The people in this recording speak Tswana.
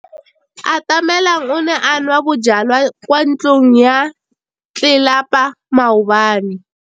Atamelang o ne a nwa bojwala kwa ntlong ya tlelapa maobane.